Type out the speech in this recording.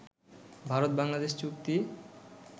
ভারত-বাংলাদেশ চুক্তি